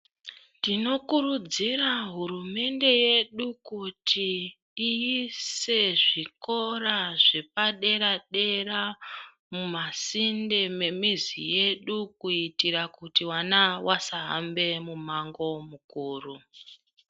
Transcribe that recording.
Tinokurudzira hurumende yedu kuti ,iise zvikora zvepadera-dera ,mumasinde memizi yedu, kuitira kuti vana vasahambe mumango mukuru.